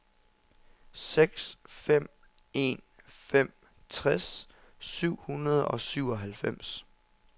seks fem en fem tres syv hundrede og syvoghalvfems